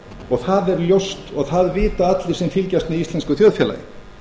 og það er ljóst og það vita allir sem fylgjast með íslensku þjóðfélagi